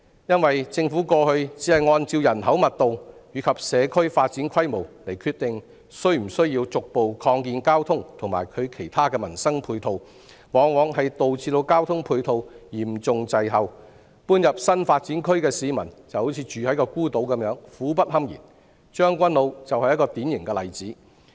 因為政府過去只按人口密度和社區發展規模來決定是否需要逐步擴建交通和其他民生配套，往往導致交通配套嚴重滯後，搬入新發展區的市民猶如住在孤島般，苦不堪言，將軍澳就是一個典型例子。